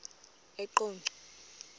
eqonco